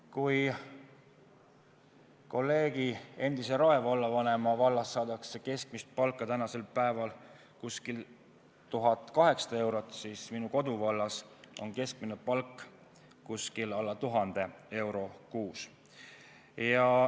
Kui kolleegi, endise Rae vallavanema vallas saadakse keskmist palka umbes 1800 eurot, siis minu koduvallas on keskmine palk alla 1000 euro kuus.